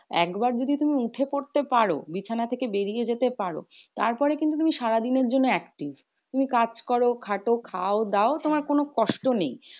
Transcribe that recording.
একবার যদি তুমি ওঠে পড়তে পারো বিছানা থেকে বেরিয়ে যেতে পারো। তারপরে কিন্তু তুমি সারাদিনের জন্য active. তুমি কাজ করো, খাটো, খাও দাও, তোমার কোনো কষ্ট নেই।